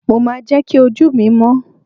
mo ma je ki oju mi mọ́